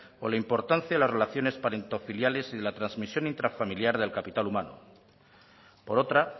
o la importancia en las relaciones parentofiliales y de la trasmisión intrafamiliar del capital humano por otra